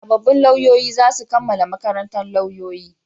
Sabobbin lauyoyi za su kammala makarantan lauyoyi